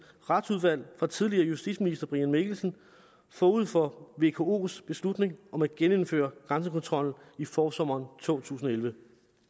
retsudvalg fra tidligere justitsminister brian mikkelsen forud for vkos beslutning om at genindføre grænsekontrollen i forsommeren to tusind og elleve